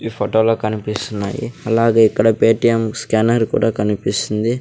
ఈ ఫోటోలో కనిపిస్తున్నాయి అలాగే ఇక్కడ పేటీఎం స్కానర్ కూడా కనిపిస్తుంది.